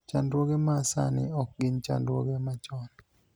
chandruoge ma sani ok gin chandruoge machon